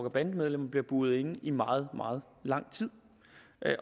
og bandemedlemmer bliver buret inde i meget meget lang tid